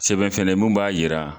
Sɛbɛn fɛnɛ ye, mun b'a yira